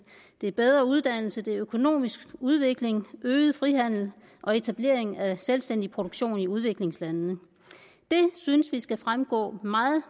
bedre uddannelse økonomisk udvikling øget frihandel og etablering af en selvstændig produktion i udviklingslandene det synes vi skal fremgå meget